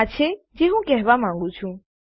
આ છે જે હું કેહવા માંગું છું